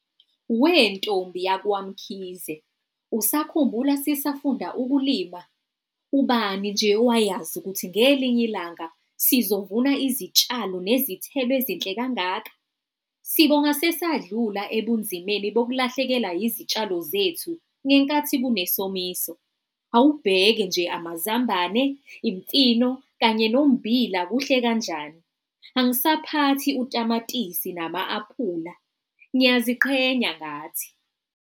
Wentombi yakwaMkhize, usakhumbula sisafunda ukulima? Ubani nje owayazi ukuthi ngelinye ilanga sizovuna izitshalo nezithelo ezinhle kangaka? Sibonga sesadlula ebunzimeni bokulahlekelwa izitshalo zethu ngenkathi kunesomiso. Awubheke nje amazambane, imfino kanye nommbila kuhle kanjani. Angisaphathi utamatisi nama-aphula. Ngiyaziqhenya ngathi.